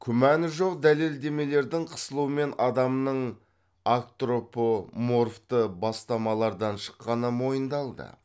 күмәні жоқ дәлелдемелердің қысылуымен адамның агтропоморфты бастамалардан шыққаны мойындалды